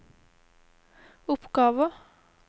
oppgaver